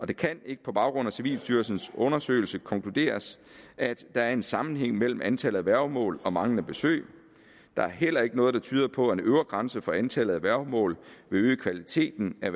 det kan ikke på baggrund af civilstyrelsens undersøgelse konkluderes at der er en sammenhæng mellem antallet af værgemål og manglende besøg der er heller ikke noget der tyder på at en øvre grænse for antallet af værgemål vil øge kvaliteten af